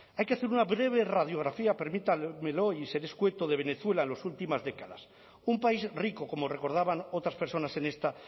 hay que hacer una breve radiografía permítanmelo y seré escueto de venezuela en las últimas décadas un país rico como recordaban otras personas en esta